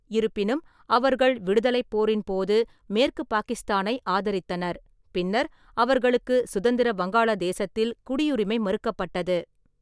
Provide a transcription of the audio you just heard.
இருப்பினும், அவர்கள் விடுதலைப் போரின் போது மேற்கு பாகிஸ்தானை ஆதரித்தனர், பின்னர் அவர்களுக்கு சுதந்திர வங்காளதேசத்தில் குடியுரிமை மறுக்கப்பட்டது.